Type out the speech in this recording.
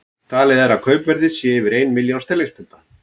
Talið er að kaupverðið sé yfir ein milljón sterlingspunda.